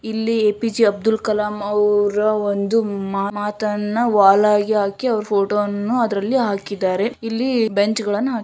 ಇಲ್ಲಿ A P J Abdul Kalam ಅವರ ಒಂದು ಮಾತನ್ನ ವಾಲ್ ಅಲ್ಲಿ ಹಾಕಿ ಅವ್ರು ಫೋಟೋ ವನ್ನು ಅದರಲ್ಲಿ ಹಾಕಿದ್ದಾರೆ ಇಲ್ಲಿ ಬೆಂಚ್ ಗಳನ್ನ ಹಾಕಿದ್ದಾರೆ --